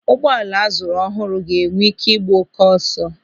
Ụgbọala a zụrụ ọhụrụ ga-enwe ị́ké ịgba oké ọsọ.